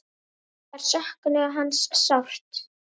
Þær söknuðu hans sárt.